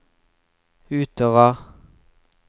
utover